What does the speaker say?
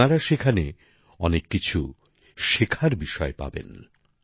আপনার সেখানে অনেক কিছু শেখার বিষয় পাবেন